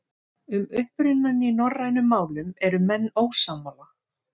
Um upprunann í norrænum málum eru menn ósammála.